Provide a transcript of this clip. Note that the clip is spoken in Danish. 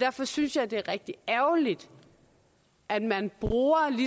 derfor synes jeg det er rigtig ærgerligt at man bruger